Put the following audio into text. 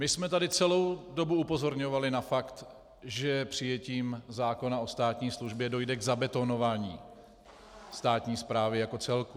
My jsme tady celou dobu upozorňovali na fakt, že přijetím zákona o státní službě dojde k zabetonování státní správy jako celku.